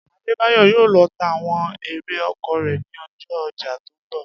Adébáyò̩ yóò lo̩ ta àwo̩n erè oko rè̩ ní o̩jó̩ o̩jà tó ń bò̩